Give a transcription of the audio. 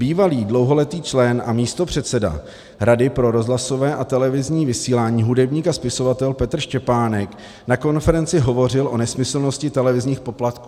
Bývalý dlouholetý člen a místopředseda Rady pro rozhlasové a televizní vysílání hudebník a spisovatel Petr Štěpánek na konferenci hovořil o nesmyslnosti televizních poplatků.